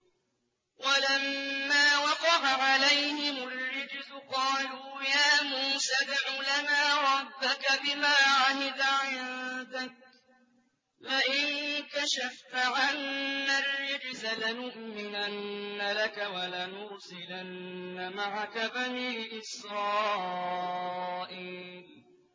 وَلَمَّا وَقَعَ عَلَيْهِمُ الرِّجْزُ قَالُوا يَا مُوسَى ادْعُ لَنَا رَبَّكَ بِمَا عَهِدَ عِندَكَ ۖ لَئِن كَشَفْتَ عَنَّا الرِّجْزَ لَنُؤْمِنَنَّ لَكَ وَلَنُرْسِلَنَّ مَعَكَ بَنِي إِسْرَائِيلَ